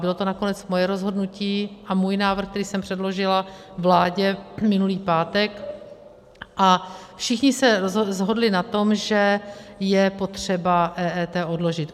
Bylo to nakonec moje rozhodnutí a můj návrh, který jsem předložila vládě minulý pátek, a všichni se shodli na tom, že je potřeba EET odložit.